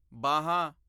ਬਾਹਾਂ